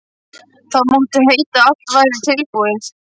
Þá mátti heita að allt væri tilbúið.